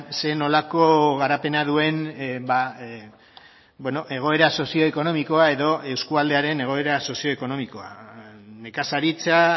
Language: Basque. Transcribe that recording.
zer nolako garapena duen egoera sozioekonomikoa edo eskualdearen egoera sozioekonomikoa nekazaritza